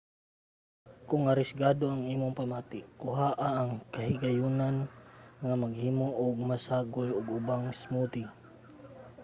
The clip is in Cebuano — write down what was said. kung arisgado ang imong pamati kuhaa ang kahigayonan nga maghimo o magsagol og ubang smoothie: